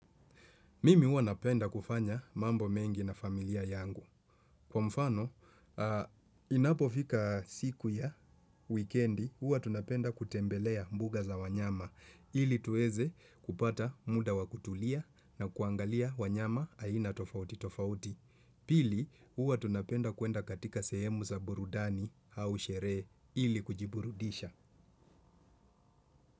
Mimi huwa napenda kufanya mambo mengi na familia yangu. Kwa mfano, inapofika siku ya wikiendi, huwa tunapenda kutembelea mbuga za wanyama, ili tuweze kupata muda wa kutulia na kuangalia wanyama aina tofauti tofauti. Pili, huwa tunapenda kwenda katika sehemu za burudani au sherehe ili kujiburudisha.